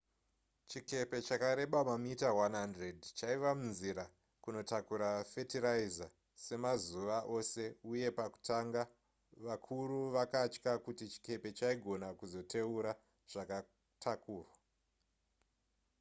chikepe chakareba mamita 100 chaiva munzira kunotakura fetiraiza semazuva ose uye pakutanga vakuru vakatya kuti chikepe chaigona kuzoteura zvakatakurwa